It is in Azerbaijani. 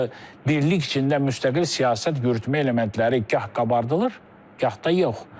Axı birlik içində müstəqil siyasət yürütmək elementləri gah qabardılır, gah da yox.